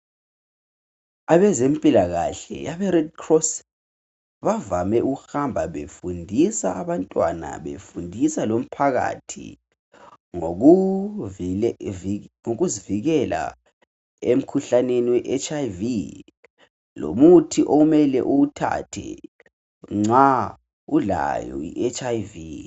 Abezempilakahle abe red cross bavame ukuhamba befundisa abantwana befundisa lomphakathi ngokuzivikela emikhuhlaneni we HIV lomuthi okumele uwuthathe nxa ulayo i HIV